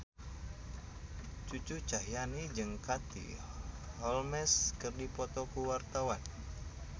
Cucu Cahyati jeung Katie Holmes keur dipoto ku wartawan